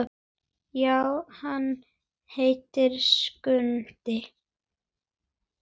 Já, hann heitir Skundi.